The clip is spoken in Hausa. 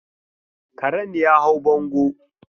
Karen ya hau bango.